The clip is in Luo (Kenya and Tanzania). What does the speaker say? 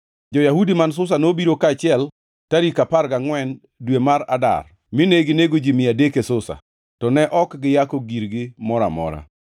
Jo-Yahudi man Susa nobiro kaachiel tarik apar gangʼwen dwe mar Adar, mine ginego ji mia adek e Susa, to ne ok giyako girgi mora amora.